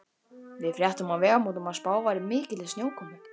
Við fréttum á Vegamótum að spáð væri mikilli snjókomu.